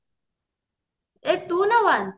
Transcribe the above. ଏ two ନା one